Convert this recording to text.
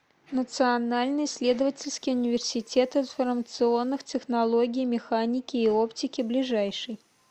национальный исследовательский университет информационных технологий механики и оптики ближайший